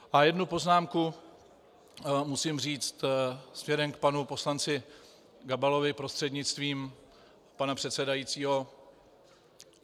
A jednu poznámku musím říci směrem k panu poslanci Gabalovi prostřednictvím pana předsedajícího.